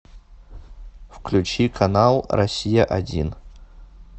включи канал россия один